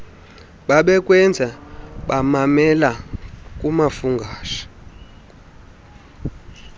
babekwenza bamamela kumafungwashe